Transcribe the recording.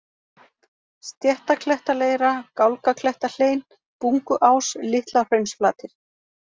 Stéttaklettaleira, Gálgaklettahlein, Bunguás, Litla-Hraunsflatir